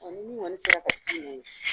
A ni min kɔɔni sera ka taa ye?